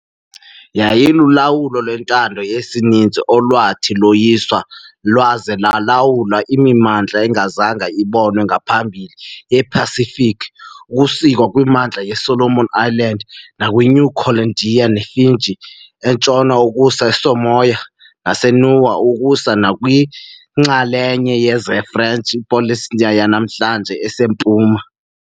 Yayilulawulo lwentando yesininzi olwathi loyisa lwaza lwalawula imimandla engazange ibonwe ngaphambili yePasifiki, ukusuka kwimimandla yeSolomon Islands nakwiNew Caledonia neFiji entshona ukusa eSamoa naseNiue ukusa nakwiinxalenye zeFrench Polynesia yanamhlanje esempuma. .